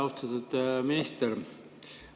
Austatud minister!